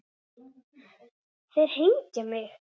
Þeir hengja mig?